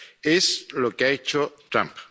Es lo que ha hecho Trump.